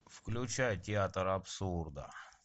включай театр абсурда